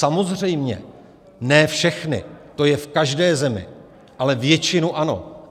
Samozřejmě ne všechny, to je v každé zemi, ale většinu ano.